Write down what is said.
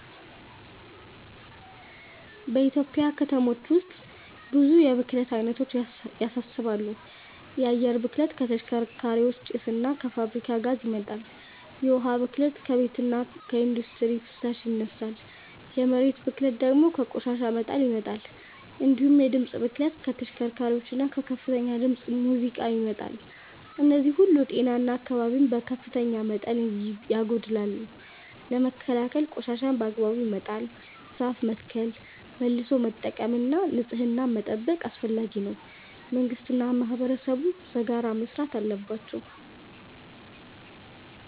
በኢትዮጵያ ከተሞች ውስጥ ብዙ የብክለት አይነቶች ያሳስባሉ። የአየር ብክለት ከተሽከርካሪዎች ጭስ እና ከፋብሪካዎች ጋዝ ይመጣል፤ የውሃ ብክለት ከቤትና ኢንዱስትሪ ፍሳሽ ይነሳል፤ የመሬት ብክለት ደግሞ ከቆሻሻ መጣል ይመጣል። እንዲሁም የድምፅ ብክለት ከተሽከርካሪዎችና ከከፍተኛ ድምፅ ሙዚቃ ይመጣል። እነዚህ ሁሉ ጤናን እና አካባቢን በከፍተኛ መጠን ያጎድላሉ። ለመከላከል ቆሻሻን በአግባቡ መጣል፣ ዛፍ መትከል፣ መልሶ መጠቀም እና ንጽህናን መጠበቅ አስፈላጊ ነው፤ መንግስትና ማህበረሰብም በጋራ መስራት አለባቸው።